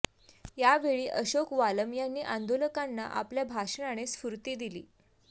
यावेळी अशोक वालम यांनी आंदोलकांना आपल्या भाषणाने स्फूर्ती दिली